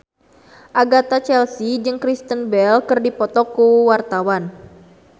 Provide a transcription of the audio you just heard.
Agatha Chelsea jeung Kristen Bell keur dipoto ku wartawan